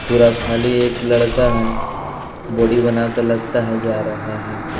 पूरा खाली एक लड़का हैं बॉडी बनाकर लगता हैं जा रहा हैं ।